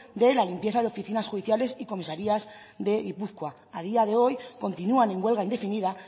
de la limpieza de oficinas judiciales y comisarías de gipuzkoa a día de hoy continúan en huelga indefinida